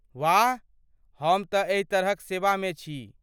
वाह! हम तँ एहि तरहक सेवामे छी।